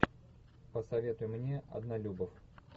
посоветуй мне однолюбов